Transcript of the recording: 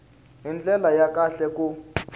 hi ndlela ya kahle ku